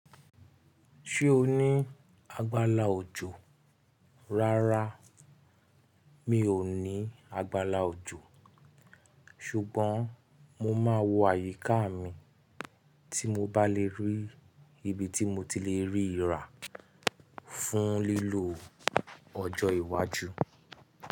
Ṣé o ní agbála òjò? Rárá, mi ò ní agbála òjò. Ṣùgbọ́n mo máa wo àyíká mi tí mo bá le rí ibi tí mo ti le rí ìrà fún lílò ọjọ́ iwájú.